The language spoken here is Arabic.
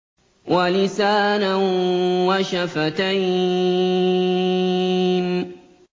وَلِسَانًا وَشَفَتَيْنِ